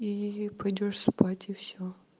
и пойдёшь спать и все